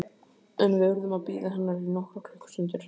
En við urðum að bíða hennar í nokkrar klukkustundir.